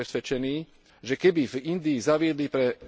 Som presvedčený, že keby v Indii zaviedli pre...